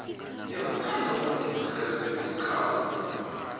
ngiyamuthanda umuntu ozikhakhazisa ngesikhabo nakavumako